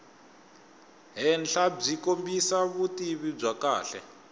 henhlabyi kombisa vutivi byo kahle